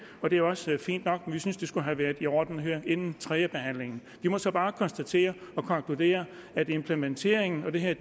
og det er også fint nok men vi synes det skulle have været i orden inden tredjebehandlingen vi må så bare konstatere og konkludere at implementeringen af det her